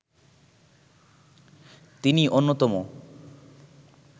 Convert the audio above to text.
তিনি অন্যতম